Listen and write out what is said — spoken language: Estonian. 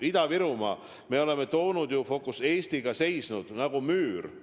Ida-Virumaa eest me oleme Eestiga seisnud nagu müür.